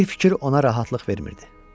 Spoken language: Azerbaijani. Bir fikir ona rahatlıq vermirdi.